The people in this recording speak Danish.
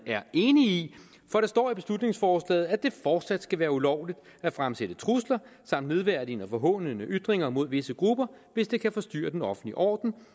er enige i for der står i beslutningsforslaget at det fortsat skal være ulovligt at fremsætte trusler samt nedværdigende og forhånende ytringer mod visse grupper hvis det kan forstyrre den offentlige orden